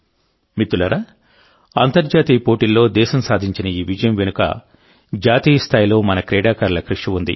మిత్రులారాఅంతర్జాతీయ ఈవెంట్లలో దేశం సాధించిన ఈ విజయం వెనుక జాతీయ స్థాయిలో మన క్రీడాకారుల కృషి ఉంది